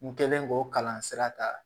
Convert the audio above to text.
N kɛlen k'o kalan sira ta